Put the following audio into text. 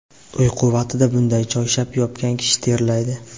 Uyqu vaqtida bunday choyshab yopgan kishi terlaydi.